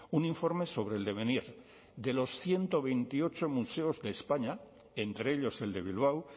un informe sobre el devenir de los ciento veintiocho museos de españa entre ellos el de bilbao